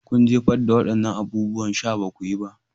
Kun jefar da waɗannan abubuwan sha. Ba ku yi ba?